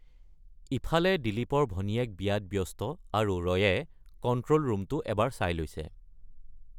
ইফালে দিলীপৰ ভনীয়েক বিয়াত ব্যস্ত, আৰু ৰয়ে কণ্ট্ৰল ৰুমটো এবাৰ চাই লৈছে।